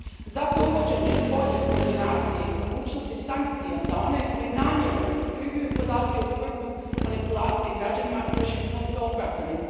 Zato uvođenje bolje koordinacije i mogućnosti sankcija za one koji namjerno iskrivljuju podatke u svrhu manipulacije građanima držim posve opravdanim.